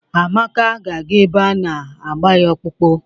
Amaka ga-aga ebe a na-agba ya ọkpụkpụ.